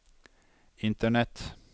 internett